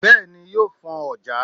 Bééni yóó fọ́n ojà.